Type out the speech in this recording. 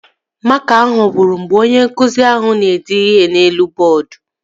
Makaa ahụ gwụrụ mgbe onye nkụzi ahụ na-ede ihe n'elu bọọdu